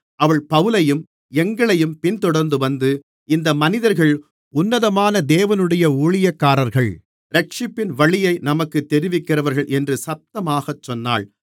அவள் பவுலையும் எங்களையும் பின்தொடர்ந்து வந்து இந்த மனிதர்கள் உன்னதமான தேவனுடைய ஊழியக்காரர்கள் இரட்சிப்பின் வழியை நமக்குத் தெரிவிக்கிறவர்கள் என்று சத்தமாக சொன்னாள்